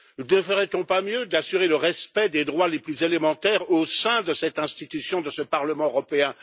Ne ferait on pas mieux d'assurer le respect des droits les plus élémentaires au sein de cette institution, de ce Parlement européen?